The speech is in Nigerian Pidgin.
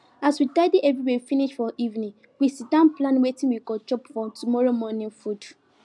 as we tidy everywhere finish for evening we sit down plan wetin we go chop for tomorrow morning food